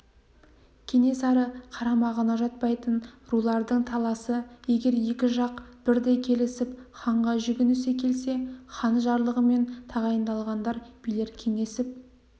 кенесары қарамағына жатпайтын рулардың таласы егер екі жақ бірдей келісіп ханға жүгінісе келсе хан жарлығымен тағайындалған билер кеңесіп